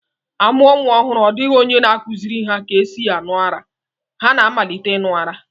A mụo nwa ọhụru, ọ dịghị onye na-akụziri ha ka e si aṅụ ara, ha na-amalite ịṅụ ara